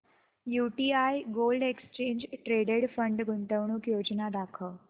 UTI gold exchange traded fund गुंतवणूक योजना दाखव